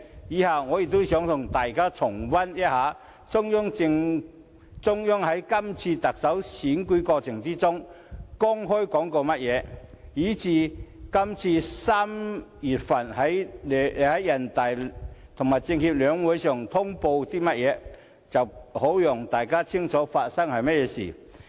接着，我想與大家重溫，中央在這次特首選舉過程中公開說過甚麼，以及今年3月在人大政協兩會上通報過些甚麼，好讓大家清楚發生了些甚麼事情。